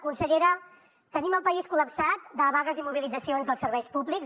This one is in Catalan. consellera tenim el país col·lapsat de vagues i mobilitzacions dels serveis públics